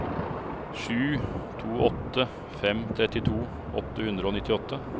sju to åtte fem trettito åtte hundre og nittiåtte